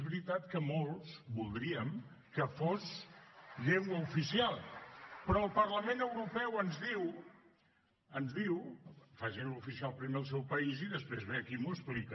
voldríem que fos llengua oficial però el parlament europeu ens diu ens diu facin lo oficial primer al seu país i després ve aquí i m’ho explica